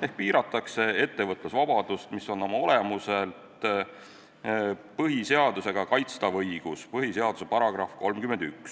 seega piiratakse ettevõtlusvabadust, mis on oma olemuselt põhiseaduse §-ga 31 kaitstav õigus.